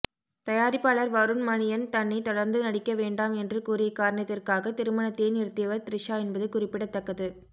தயாரிப்பாளர் வருண் மணியன் தன்னை தொடர்ந்து நடிக்க வேண்டாம் என்று கூறிய காரணத்திற்காக திருமணத்தையே நிறுத்தியவர் த்ரிஷா என்பது குறிப்பிடத்தக்கது